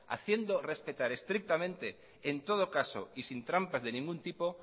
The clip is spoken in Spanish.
haciendo respetar estrictamente en todo caso y sin trampas de ningún tipo